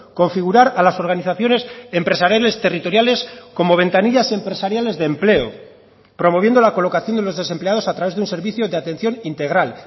configurar a las organizaciones empresariales territoriales como ventanillas empresariales de empleo promoviendo la colocación de los desempleados a través de un servicio de atención integral